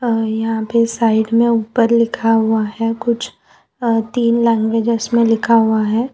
और यहां पे साइड में ऊपर लिखा हुआ है कुछ अ तीन लैंग्वेजेस में लिखा हुआ है।